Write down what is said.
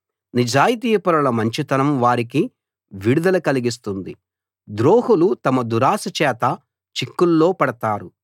నిజాయితీపరుల మంచితనం వారికి విడుదల కలిగిస్తుంది ద్రోహులు తమ దురాశ చేత చిక్కుల్లో పడతారు